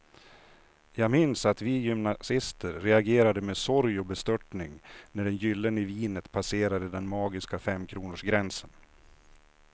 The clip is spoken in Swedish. Jag minns att vi gymnasister reagerade med sorg och bestörtning när det gyllene vinet passerade den magiska femkronorsgränsen.